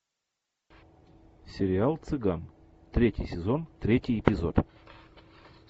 сериал цыган третий сезон третий эпизод